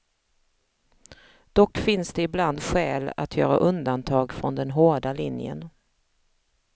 Dock finns det ibland skäl att göra undantag från den hårda linjen.